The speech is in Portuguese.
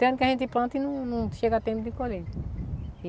Tem ano que a gente planta e não não chega a tempo de colheita.